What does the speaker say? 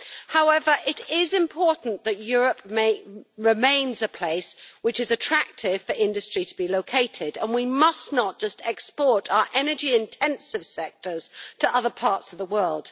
However, it is important that Europe remains a place in which it is attractive for industry to be located, and we must not simply export our energy intensive sectors to other parts of the world.